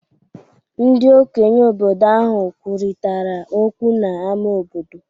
Ndị okenye obodo ahụ kwurịtara okwu n’ámá obodo.